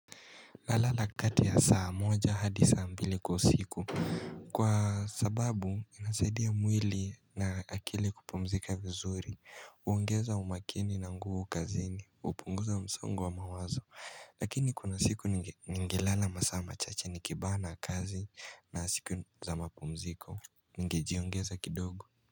Nalala kati ya saa moja hadi saa mbili kwa usiku Kwa sababu inasaidia mwili na akili kupumzika vizuri Hoongeza umakini na nguvu kazini hupunguza msongo wa mawazo Lakini kuna siku ningelala masaa machache nikibana kazi na siku za mapumziko Ningejiongeza kidogo.